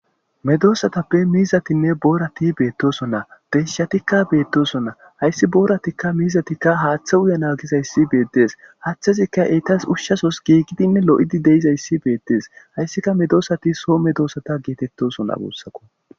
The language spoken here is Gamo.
Medosayuppe miizatinne borati betosona deyishatika betosona haysi boratika miizatika hathe uyana gizaysi beetesi hathezika etas ushasozi gigidine lo'idi dizaysi betes haysika medosati soo medosata getetosona gusako